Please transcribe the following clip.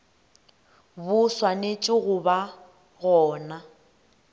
bo swanetše go ba gona